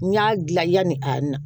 N y'a dilan yani a na